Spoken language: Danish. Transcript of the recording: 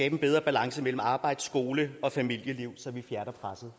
en bedre balance mellem arbejds skole og familieliv så vi fjerner presset